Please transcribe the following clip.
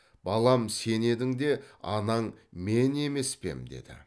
балам сен едің де анаң мен емес пе ем деді